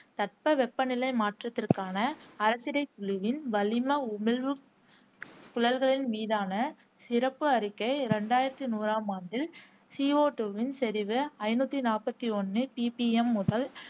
தட்பவெப்பநிலை மாற்றத்திற்கான அரசிடைக்குழுவின் வளிம உமிழ்வு சுழல்களின் மீதான சிறப்பு அறிக்கை ரெண்டாயிரத்தி நூறாம் ஆண்டில் சி ஓஅ டூவின் செறிவு ஐநூத்தி நாப்பத்தி ஒண்ணு PPM முதல்